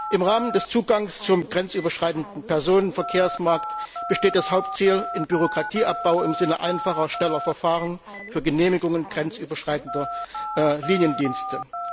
Im Rahmen des Zugangs zum grenzüberschreitenden Personenverkehrsmarkt besteht das Hauptziel im Bürokratieabbau im Sinne einfacher, schneller Verfahren für Genehmigungen grenzüberschreitender Liniendienste.